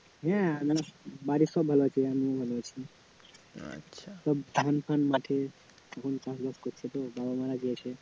হ্যাঁ মানে বাড়ির সবাই ভালো আছে আমিও ভালো আছি সব ধান ফান মাঠে এখন চাষবাস করছে তো, বাবা মারা গিয়েছে,